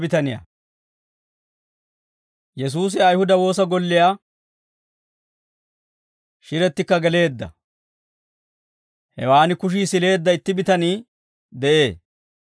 Yesuusi Ayihuda woosa golliyaa shirettikka geleedda; hewaan kushii sileedda itti bitanii de'ee.